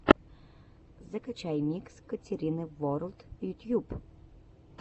закачай микс катерины ворлд ютьюб